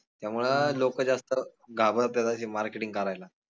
त्यामुळं लोक जास्त घाबरत्यात अशी marketing करायला